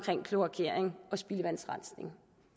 kloakering og spildevandsrensning